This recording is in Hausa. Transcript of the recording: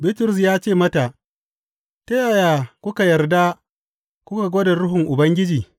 Bitrus ya ce mata, Ta yaya kuka yarda ku gwada Ruhun Ubangiji?